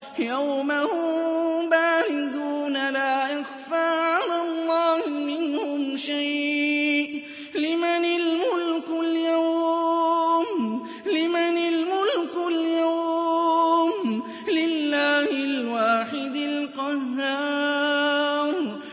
يَوْمَ هُم بَارِزُونَ ۖ لَا يَخْفَىٰ عَلَى اللَّهِ مِنْهُمْ شَيْءٌ ۚ لِّمَنِ الْمُلْكُ الْيَوْمَ ۖ لِلَّهِ الْوَاحِدِ الْقَهَّارِ